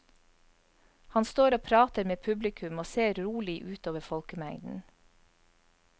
Han står og prater med publikum og ser rolig utover folkemengden.